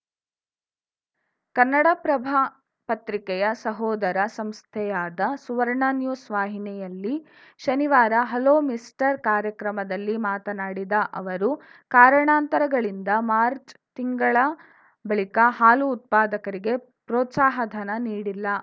ಕನ್ನಡಪ್ರಭ ಪತ್ರಿಕೆಯ ಸಹೋದರ ಸಂಸ್ಥೆಯಾದ ಸುವರ್ಣ ನ್ಯೂಸ್‌ ವಾಹಿನಿಯಲ್ಲಿ ಶನಿವಾರ ಹಲೋ ಮಿನಿಸ್ಟರ್‌ ಕಾರ್ಯಕ್ರಮದಲ್ಲಿ ಮಾತನಾಡಿದ ಅವರು ಕಾರಣಾಂತರಗಳಿಂದ ಮಾರ್ಚ್ ತಿಂಗಳ ಬಳಿಕ ಹಾಲು ಉತ್ಪಾದಕರಿಗೆ ಪ್ರೋತ್ಸಾಹ ಧನ ನೀಡಿಲ್ಲ